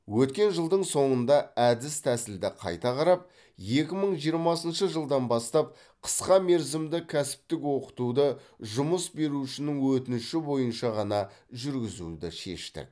өткен жылдың соңында әдіс тәсілді қайта қарап екі мың жиырмасыншы жылдан бастап қысқа мерзімді кәсіптік оқытуды жұмыс берушінің өтініші бойынша ғана жүргізуді шештік